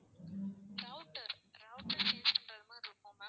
router router change பண்றது மாதிரி இருக்கும் ma'am